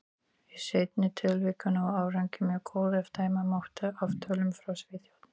Í seinna tilvikinu var árangur mjög góður, ef dæma mátti af tölum frá Svíþjóð.